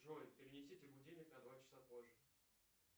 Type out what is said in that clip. джой перенесите будильник на два часа позже